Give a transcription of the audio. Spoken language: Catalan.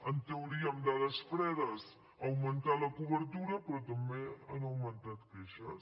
en teoria amb dades fredes ha augmentat la cobertura però també han augmentat les queixes